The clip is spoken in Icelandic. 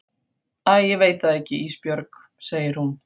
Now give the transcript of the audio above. Æ ég veit það ekki Ísbjörg, segir hún.